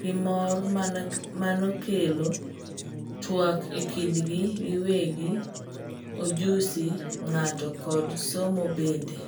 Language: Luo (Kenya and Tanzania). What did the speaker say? gimormanokelo tuak ekindgi giwegi ojusi ng'ato kod somo bende.